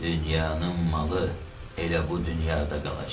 Dünyanın malı elə bu dünyada qalacaq.